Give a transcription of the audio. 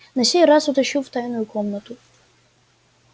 на сей раз утащил в тайную комнату